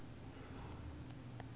mafarani